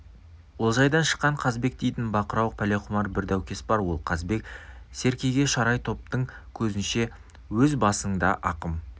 олжайдан шыққан қазбек дейтін бақырауық пәлеқұмар бір даукес бар сол қазбек серкеге шарай топтың көзінше өз басыңда ақым